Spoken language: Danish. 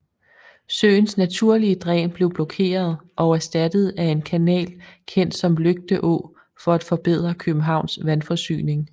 Søens naturlige dræn blev blokeret og erstattet af en kanal kendt som Lygte Å for at forbedre Københavns vandforsyning